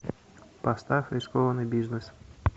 поставь рискованный бизнес